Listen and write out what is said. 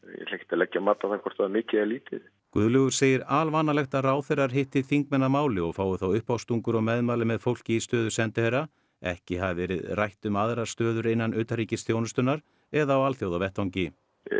að leggja mat á það hvort það var mikið eða lítið Guðlaugur segir alvanalegt að ráðherrar hitti þingmenn að máli og fái þá uppástungur og meðmæli með fólki í stöðu sendiherra ekki hafi verið rætt um aðrar stöður innan utanríkisþjónustunnar eða á alþjóðavettvangi